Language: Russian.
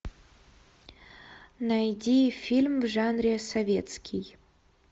найди фильм в жанре советский